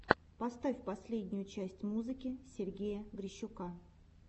поставь последнюю часть музыки сергея грищука